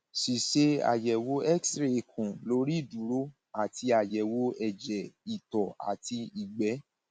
ṣíṣe àyẹwò xray ikùn lórí ìdúró àti àyẹwò ẹjẹ ìtọ àti ìgbẹ